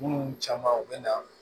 Minnu caman u bɛ na